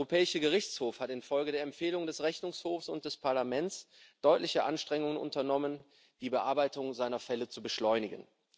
Der Europäische Gerichtshof hat infolge der Empfehlung des Rechnungshofs und des Parlaments deutliche Anstrengungen unternommen, die Bearbeitung seiner Fälle zu beschleunigen.